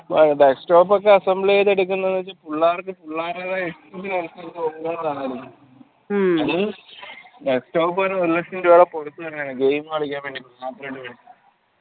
desktop ഒക്കെ assemble ചെയ്തെടുക്കുന്നെ പുള്ളാർക് പുള്ളാർടേതായ ഇഷ്ടത്തിന് അത് desk top വരെ ഒരു ലക്ഷം രൂപ game കളിയ്ക്കാൻ വേണ്ടി മാത്രം